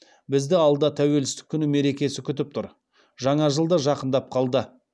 бізді алда тәуелсіздік күні мерекесі күтіп тұр жаңа жыл да жақындап қалды